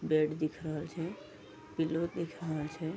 Bed दिख रहल छे पिल्लो रहल छे।